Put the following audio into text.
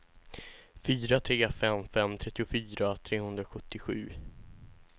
fyra tre fem fem trettiofyra trehundrasjuttiosju